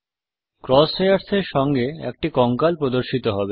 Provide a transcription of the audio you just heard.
cross hairs এর সঙ্গে একটি কঙ্কাল প্রদর্শিত হবে